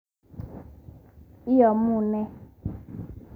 Iamune?